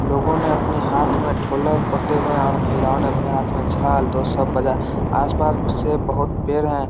लोगों ने अपने हाथ मे ढ़ोलक पकड़े हुए हैं और महिलाओ ने अपने हाथ में झाल दो सब बजा आसपास से बहुत पेड़ हैं।